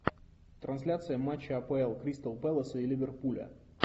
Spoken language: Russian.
трансляция матча апл кристал пэлас и ливерпуля